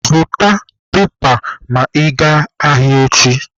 Zụta pepa ma ị gaa ahịa echi!